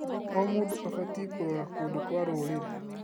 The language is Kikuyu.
O mũndũ abatiĩ kũrora kũndũ kwa rũrĩrĩ.